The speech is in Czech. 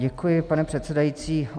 Děkuji, pane předsedající.